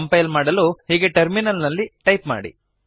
compile ಮಾಡಲು ಹೀಗೆ terminal ನಲ್ಲಿ ಟೈಪ್ ಮಾಡಿ